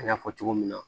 An y'a fɔ cogo min na